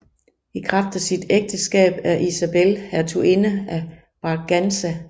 I kraft af sit ægteskab er Isabel hertuginde af Braganza